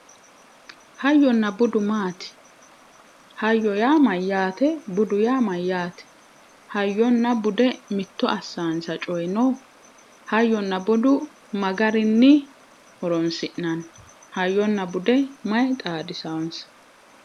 Hayyonna budu maati, hayyo yaa mayate, budu yaa mayte ,hayyonna bude mitto assanonsa coyi no? Hayyonna budu mayi gari horonsi'nanni, hayyonna bude mayi xaadisayonsa?